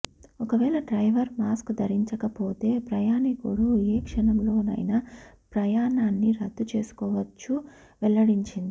ఒకవేళ driver mask ధరించకపోతే ప్రయాణికుడు ఏ క్షణంలోనైనా ప్రయాణాన్ని రద్దు చేసుకోవచ్చని వెల్లడించింది